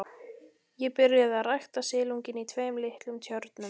Ég byrjaði að rækta silunginn í tveim litlum tjörnum.